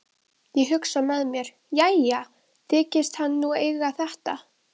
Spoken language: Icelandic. Ég hugsa með mér: Jæja, þykist hann nú eiga þetta.